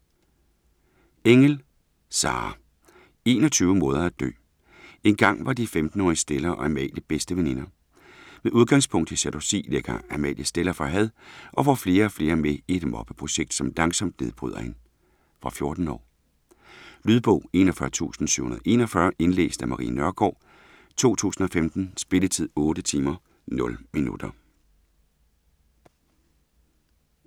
Engell, Sarah: 21 måder at dø Engang var de 15-årige Stella og Amalie bedste veninder. Med udgangspunkt i jalousi lægger Amalie Stella for had og får flere og flere med i et mobbeprojekt, som langsomt nedbryder hende. Fra 14 år. Lydbog 41741 Indlæst af Marie Nørgaard, 2015. Spilletid: 8 timer, 0 minutter.